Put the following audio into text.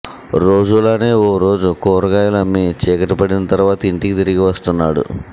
రోజులానే ఓ రోజు కూరగాయలు అమ్మి చీకటి పడిన తరువాత ఇంటికి తిరగి వస్తున్నాడు